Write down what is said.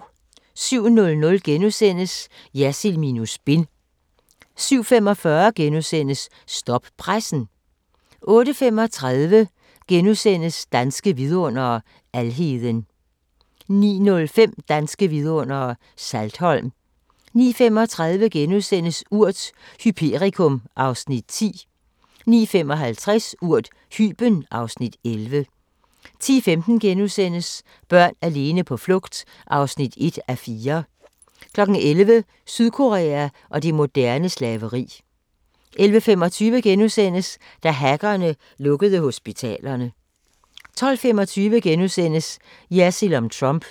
07:00: Jersild minus spin * 07:45: Stop pressen! * 08:35: Danske Vidundere: Alheden * 09:05: Danske Vidundere: Saltholm 09:35: Urt: Hyperikum (Afs. 10)* 09:55: Urt: Hyben (Afs. 11) 10:15: Børn alene på flugt (1:4)* 11:00: Sydkorea og det moderne slaveri 11:25: Da hackerne lukkede hospitalerne * 12:25: Jersild om Trump *